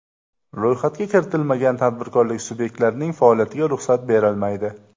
Ro‘yxatga kiritilmagan tadbirkorlik subyektlarning faoliyatiga ruxsat berilmaydi.